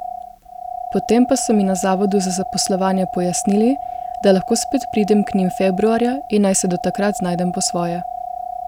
Potem pa so mi na Zavodu za zaposlovanje pojasnili, da lahko spet pridem k njim februarja in naj se do takrat znajdem po svoje.